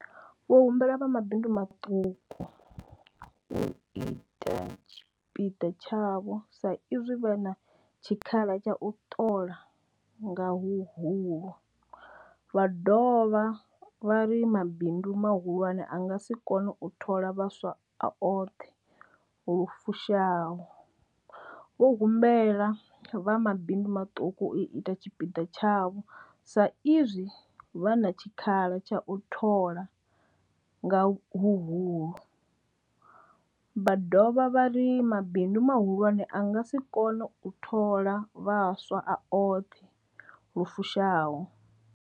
Vho humbela vha mabindu maṱuku u ita tshipiḓa tshavho sa izwi vha na tshikhala tsha u ṱola nga huhulu, vha dovha vha ri mabindu mahulwane a nga si kone u thola vhaswa a oṱhe lu fushaho. Vho humbela vha mabindu maṱuku u ita tshipiḓa tshavho sa izwi vha na tshikhala tsha u thola nga huhulu, vha dovha vha ri mabindu mahulwane a nga si kone u thola vhaswa a oṱhe lu fushaho.